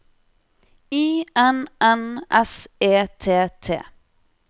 I N N S E T T